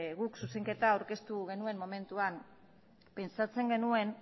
guk zuzenketa aurkeztu genuen momentuan pentsatzen genuen